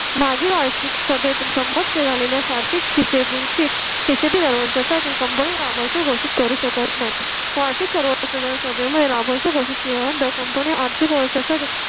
मागे वार्षिक सभेत संबोधित केलेल्या सारथी शिबू चे पैसे भरण्या साठी कंपनी लाभांश घोषित करू शकत नाही असे सर्वसाधारण सभेमध्ये लाभांश घोषित केल्यानंतर कंपनी आर्थिक वर्षा साठी